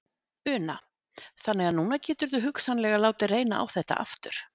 Una: Þannig að núna geturðu hugsanlega látið reyna á þetta aftur?